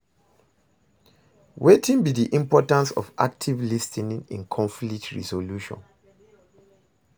Wetin be di importance of active lis ten ing in conflict resolution?